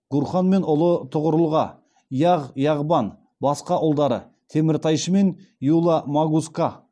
гурхан мен ұлы тұғырұлға яғ яғбан басқа ұлдары теміртайшы мен юла магусқа